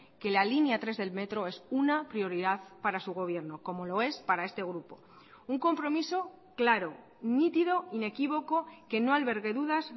que la línea tres del metro es una prioridad para su gobierno como lo es para este grupo un compromiso claro nítido inequívoco que no albergue dudas